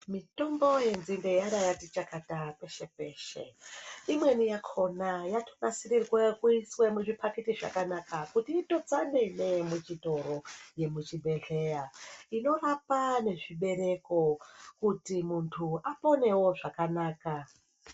Mitombo yenzimbe yarakashitaka peshe peshe imweni yakona yatibatsire kuuya kuiswe muzvipakiti zvakanaka kuti itotsanine muzvitoro nemuzvibhedlera inorapa nezvibereko kuti muntu aponewo zvakanaka